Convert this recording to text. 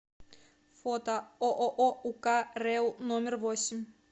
фото ооо ук рэу номер восемь